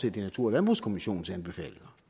i natur og landbrugskommissionens anbefalinger